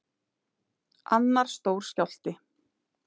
Annar stór skjálfti